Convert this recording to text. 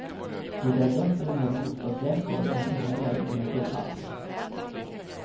Det är bättre med bostadsrätter än inga lägenheter alls.